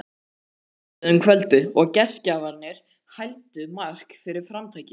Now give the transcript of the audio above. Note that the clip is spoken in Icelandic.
Þau töluðu um kvöldið og gestgjafarnir hældu Mark fyrir framtakið.